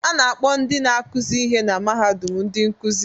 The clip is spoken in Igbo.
A na-akpọ ndị na-akụzi ihe na mahadum ndị nkuzi